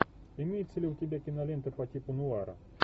имеется ли у тебя кинолента по типу нуара